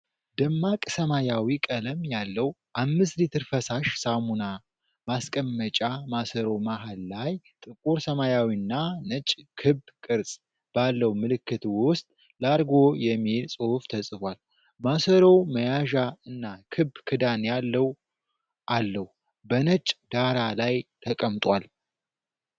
ደማቅ ሰማያዊ ቀለም ያለው አምስት ሊትር ፈሳሽ ሳሙና ማስቀመጫ ማሰሮ መሃል ላይ ጥቁር ሰማያዊና ነጭ ክብ ቅርጽ ባለው ምልክት ውስጥ "ላርጎ" የሚል ጽሑፍ ተጽፏል። ማሰሮው መያዣ እና ክብ ክዳን ያለው አለው፣ በነጭ ዳራ ላይ ተቀምጧል።